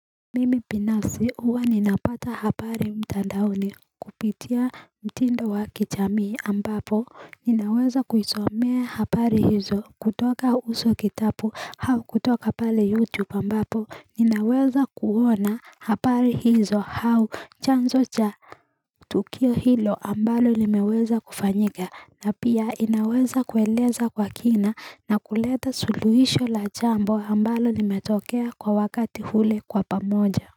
Mimi pinafsi huwa ninapata hapari mtandaoni kupitia mtindo wa kichamii ambapo ninaweza kuisomea hapari hizo kutoka uso kitapu hau kutoka pale youtube ambapo ninaweza kuona hapari hizo hau chanzo cha Tukio hilo ambalo limeweza kufanyika na pia inaweza kueleza kwa kina na kuleta suluhisho la jambo ambalo limetokea kwa wakati hule kwa pamoja.